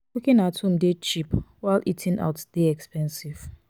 cooking at home de cheap while eating out de costly